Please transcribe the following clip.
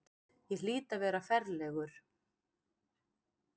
Ég hlýt að vera ferlegur.